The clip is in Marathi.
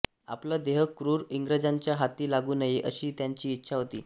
आपला देह क्रूर इंग्रजांच्या हाती लागू नये अशी त्यांची इच्छा होती